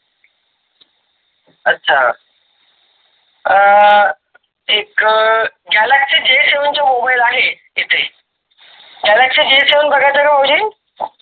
अच्छा आह एक गॅलॅक्सि J सेव्हन चा मोबाईल आहे तिथे. गॅलॅक्सि J सेव्हन बघा थर भाऊजी.